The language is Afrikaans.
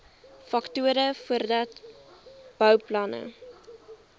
faktore voordat bouplanne